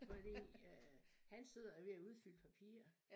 Fordi øh han sidder og er ved at udfylde papirer